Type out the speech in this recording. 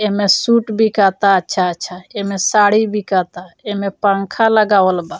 एहमें suit बिकाता अच्छा-अच्छा। एहमें साड़ी बिकाता। एहमे पँखा लगावल बा।